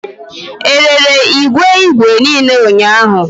E rere igwe igwe niile ụnyahụ